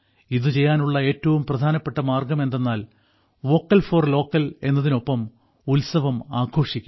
ഇത് ചെയ്യാനുള്ള ഏറ്റവും പ്രധാനപ്പെട്ട മാർഗം എന്തെന്നാൽ വോക്കൽ ഫോർ ലോക്കൽ എന്നതിനൊപ്പം ഉത്സവം ആഘോഷിക്കൂ